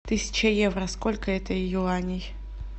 тысяча евро сколько это юаней